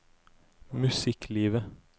musikklivet